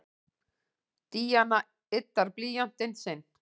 Díana yddar blýantinn sinn.